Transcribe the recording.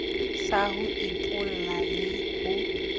sa ho epolla le ho